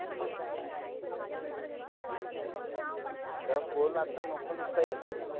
गप्प बोल अत नको नुसत हे करू